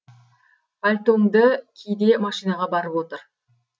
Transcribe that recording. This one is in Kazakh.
пальтоңды ки де машинаға барып отыр